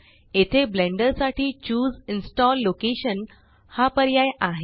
येथे ब्लेंडर साठी choose install location हा पर्याय आहे